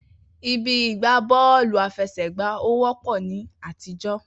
Ibi ìgbá bọ́ọ̀lù àfẹsẹ̀gbá ò wọ́pọ̀ ní àtijọ́.